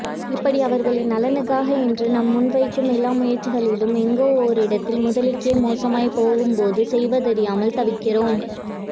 இப்படி அவர்களின் நலனுக்காக என்று நாம் முன்வைக்கும் எல்லா முயற்சிகளும் எங்கோ ஓரிடத்தில் முதலுக்கே மோசமாய் போகும்போது செய்வதறியாமல் தவிக்கிறோம்